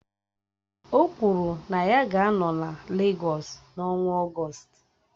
O kwuru na ya ga-anọ na Legọs n'ọnwa Ọgọst